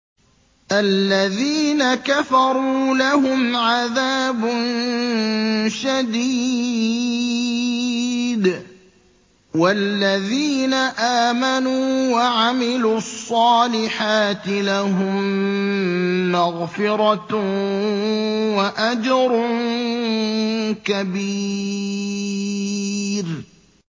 الَّذِينَ كَفَرُوا لَهُمْ عَذَابٌ شَدِيدٌ ۖ وَالَّذِينَ آمَنُوا وَعَمِلُوا الصَّالِحَاتِ لَهُم مَّغْفِرَةٌ وَأَجْرٌ كَبِيرٌ